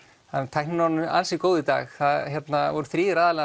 tæknin er orðin ansi góð í dag það voru þrír aðilar